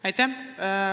Aitäh!